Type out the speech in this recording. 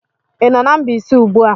Ị nọ na Mbaise ugbu a?